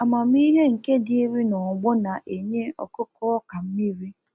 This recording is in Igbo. Amamihe nke dịrị n'ọgbọ na-enye ọkụkụ ọka mmiri